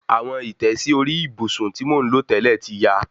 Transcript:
Aṣọ ìtẹ́sí orí ìbùsùn tí mò ń lò tẹ́lẹ̀ ti ya